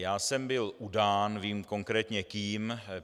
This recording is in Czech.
Já jsem byl udán, vím konkrétně kým.